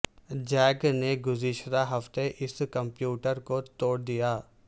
Jack نے گزشتہ ہفتے اس کمپیوٹر کو توڑ دیا